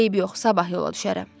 Eybi yox, sabah yola düşərəm.